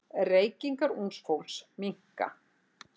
Reykingar ungs fólks minnka.